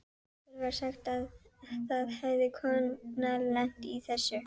Okkur var sagt að það hefði kona lent í þessu.